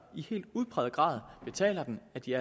i helt udpræget grad betaler den er de